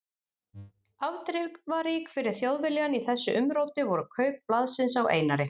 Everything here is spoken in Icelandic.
Afdrifarík fyrir Þjóðviljann í þessu umróti voru kaup blaðsins á Einari